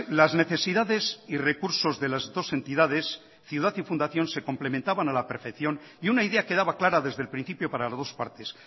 las necesidades y recursos de las dos entidades ciudad y fundación se complementaban a la perfección y una idea quedaba clara desde el principio par las dos partes